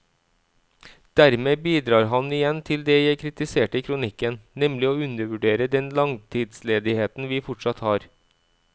Dermed bidrar han igjen til det jeg kritiserte i kronikken, nemlig å undervurdere den langtidsledigheten vi fortsatt har.